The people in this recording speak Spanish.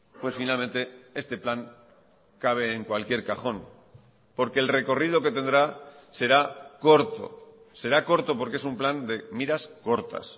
pues finalmente este plan cabe en cualquier cajón porque el recorrido que tendrá será corto será corto porque es un plan de miras cortas